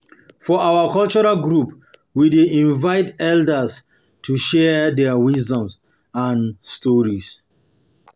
For our cultural group, we dey invite elders to share their wisdom and stories.